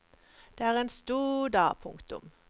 Det er en stor dag. punktum